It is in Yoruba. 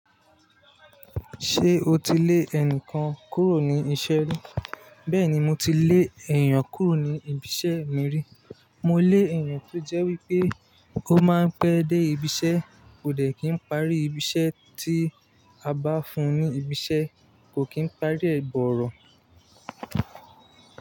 Ṣé o ti lé ẹnìkan kúrò ní iṣẹ́ rí? Bẹ́ẹ̀ni, mo ti lé èèyàn kúrò ní ibiṣẹ́ mi rí. Mo lé èèyàn tó jẹ́ wípé ó máa ń pẹ́ dé ibiṣẹ́, kò dẹ̀ kí ń parí ibiṣẹ́ tí a bá fún un ní ibiṣẹ́, kò kí ń parí ẹ̀ borọ̀.